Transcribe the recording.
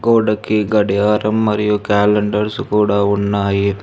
గోడకి గడియారం మరియు క్యాలెండర్స్ కూడా ఉన్నాయి.